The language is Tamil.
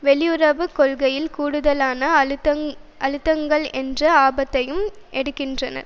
வெளியுறவு கொள்கையில் கூடுதலான அழுத்தங்கள் என்ற ஆபத்தையும் எடுக்கின்றனர்